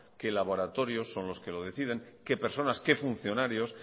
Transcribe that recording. qué laboratorios son los que lo deciden qué personas qué funcionarios